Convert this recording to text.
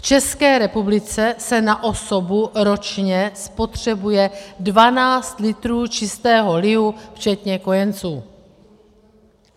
V České republice se na osobu ročně spotřebuje 12 litrů čistého lihu včetně kojenců.